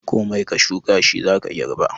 Komai ka shuka shi za ka girba.